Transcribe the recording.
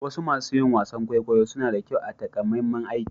Wasu masun yin wasan kwaikwayo suna da kyau a'takamaiman aiki.